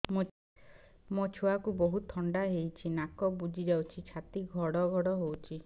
ମୋ ଛୁଆକୁ ବହୁତ ଥଣ୍ଡା ହେଇଚି ନାକ ବୁଜି ଯାଉଛି ଛାତି ଘଡ ଘଡ ହଉଚି